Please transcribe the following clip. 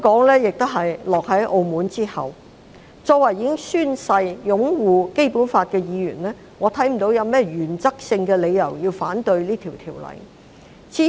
因此，作為已經宣誓擁護《基本法》的議員，我看不到有任何原則性的理由要反對這項《條例草案》。